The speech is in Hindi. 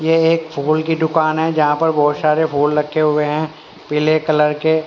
यह एक फूल की दुकान है जहां पर बहोत सारे फूल रखे हुए हैं पीले कलर के।